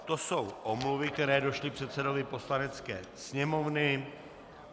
To jsou omluvy, které přišly předsedovi Poslanecké sněmovny.